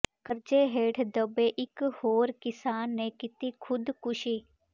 ਕਰਜ਼ੇ ਹੇਠ ਦੱਬੇ ਇਕ ਹੋਰ ਕਿਸਾਨ ਨੇ ਕੀਤੀ ਖ਼ੁਦਕੁਸ਼ੀ